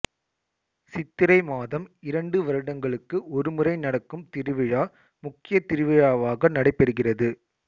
சித்திரை மாதம் இரண்டு வருடங்களுக்கு ஒருமுறை நடக்கும் திருவிழா முக்கிய திருவிழாவாக நடைபெறுகிறது